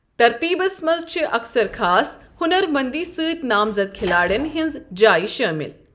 ترتیٖبَس منٛز چھِ اکثر خاص ہنر مٔنٛدی سۭتۍ نامزد کھلاڑٮ۪ن ہٕنٛز جایہ شٲمل۔